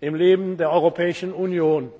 im Leben der Europäischen Union.